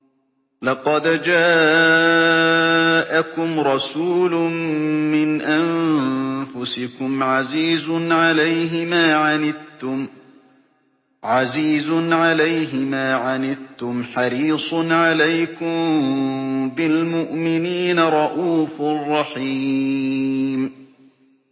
لَقَدْ جَاءَكُمْ رَسُولٌ مِّنْ أَنفُسِكُمْ عَزِيزٌ عَلَيْهِ مَا عَنِتُّمْ حَرِيصٌ عَلَيْكُم بِالْمُؤْمِنِينَ رَءُوفٌ رَّحِيمٌ